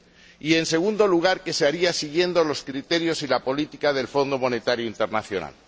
y, en segundo lugar, que se haría siguiendo los criterios y la política del Fondo Monetario Internacional.